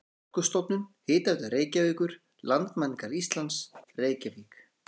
Orkustofnun, Hitaveita Reykjavíkur, Landmælingar Íslands, Reykjavík.